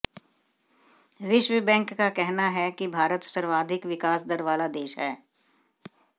विश्व बैंक का कहना है कि भारत सर्वाधिक विकास दर वाला देश है